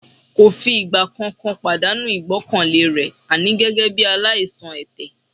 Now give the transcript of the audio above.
Kò fìgbà kan pàdánù ìgbọ́kànlé rẹ̀ àní gẹ́gẹ́ bí aláìsàn ẹ̀tẹ̀